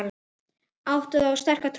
Áttu þér sterka trú?